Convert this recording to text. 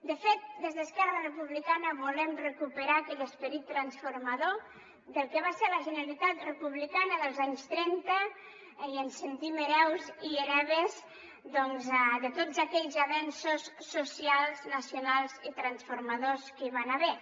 de fet des d’esquerra republicana volem recuperar aquell esperit transformador del que va ser la generalitat republicana dels anys trenta i ens sentim hereus i hereves doncs de tots aquells avenços socials nacionals i transformadors que hi van haver